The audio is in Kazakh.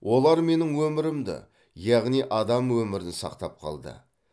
олар менің өмірімді яғни адам өмірін сақтап қалды